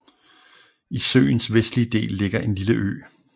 I søens vestlige del ligger en lille ø